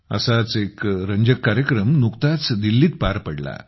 असाच एक रंजक कार्यक्रम नुकताच दिल्लीत पार पडला